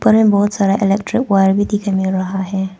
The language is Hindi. ऊपर में बहोत सारा इलेक्ट्रिक वायर भी दिखाई दे रहा है।